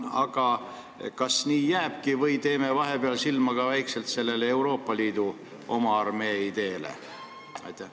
Aga kas nii jääbki või teeme vahepeal väikselt silma ka Euroopa Liidu oma armee ideele?